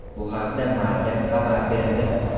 Bu haqda markaz xabar berdi.